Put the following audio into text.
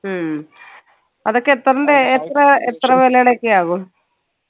ഹും അതൊക്കെ എത്രണ്ടേ എത്ര എത്ര വെലയുടെ ഒക്കെ ആകും